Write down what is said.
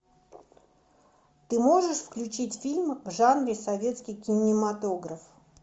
ты можешь включить фильм в жанре советский кинематограф